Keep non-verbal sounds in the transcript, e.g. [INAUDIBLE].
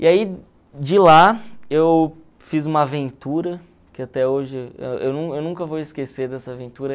E aí, de lá, eu fiz uma aventura que até hoje [UNINTELLIGIBLE] eu eu nunca vou esquecer dessa aventura.